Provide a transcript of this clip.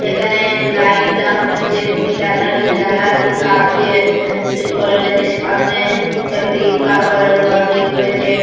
এখানে লাইট লাগানো রয়েছে দুটি জানালা রয়েছে জানলাটির কাজ দিয়ে এ করা রয়েছে। সামনে একটি কালো কালারের গেট রয়েছে।